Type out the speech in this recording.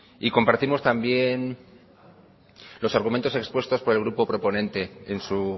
y compartimos también los argumentos expuestos por el grupo proponente en su